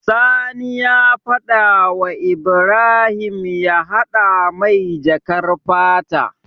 Sani ya fada wa Ibrahim ya hada mai jakar fata